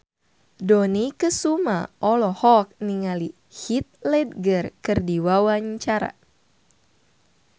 Dony Kesuma olohok ningali Heath Ledger keur diwawancara